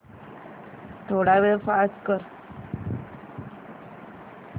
थोडा वेळ पॉझ कर